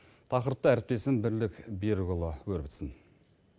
тақырыпты әріптесім бірлік берікұлы өрбітсін